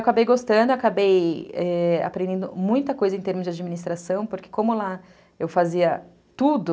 Acabei gostando, acabei aprendendo muita coisa em termos de administração, porque como lá eu fazia tudo...